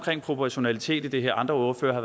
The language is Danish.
proportionalitet i det her andre ordførere har